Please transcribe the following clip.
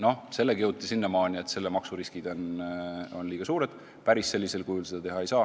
Jõuti järelduseni, et sellega kaasnevad maksuriskid on liiga suured ja päris sellisel kujul seda teha ei saa.